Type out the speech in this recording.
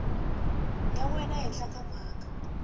ya wena ehenhla ka mhaka